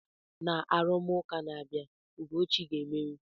Na arụmụka na-abịa, Ugochi ga-emeri.